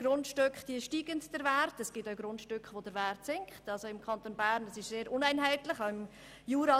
Der Wert von Grundstücken steigt oft, und manchmal sinkt er auch.